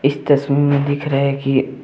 की तस्वीर में दिख रहे की।